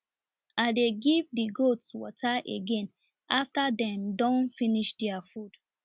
i dey give the goats water again after dem don finish their food